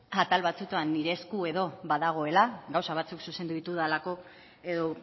atal batzuetan badagoela gauza batzuk zuzendu ditudalako edo